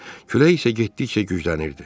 Külək isə getdikcə güclənirdi.